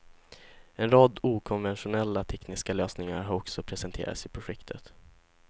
En rad okonventionella tekniska lösningar har också presenterats i projektet.